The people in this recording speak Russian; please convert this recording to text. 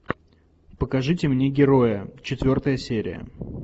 покажите мне героя четвертая серия